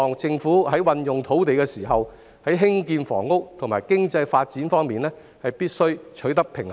政府在運用土地時，必須在建屋與經濟發展兩方面取得平衡。